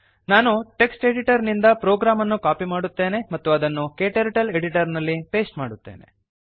ನಾನು text editor ನಿಂದ program ಅನ್ನು ಕಾಪಿ ಮಾಡುತ್ತೇನೆ ಮತ್ತು ಅದನ್ನು ಕ್ಟರ್ಟಲ್ Editorನಲ್ಲಿ ಪೇಸ್ಟ್ ಮಾಡುತ್ತೇನೆ